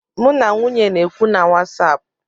M na nwunye na-ekwu na wasapụ